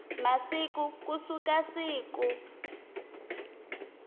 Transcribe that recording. wa masiku ku suka siku